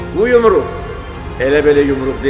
Bu yumruq elə belə yumruq deyil.